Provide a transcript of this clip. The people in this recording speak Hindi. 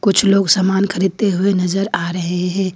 कुछ लोग सामान खरीदते हुए नजर आ रहे हैं।